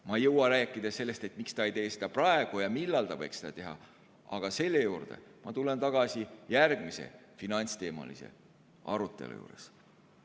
Ma ei jõua rääkida sellest, miks ta ei tee seda praegu ja millal ta võiks seda teha, tulen selle juurde tagasi järgmise finantsteemalise arutelu juures.